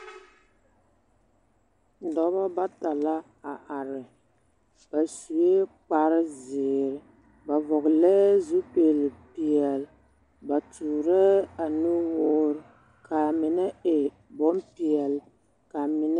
Dͻbͻ bata la a are. Ba sue kpare zeere, ba vͻgelԑԑ zupili peԑle, ba toorԑԑ a nuwoore kaa mine e bompeԑle, kaa mine.